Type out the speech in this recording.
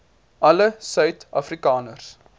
alle suid afrikaners